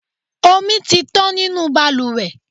Omi tí tán nínú bàlùwẹ̀.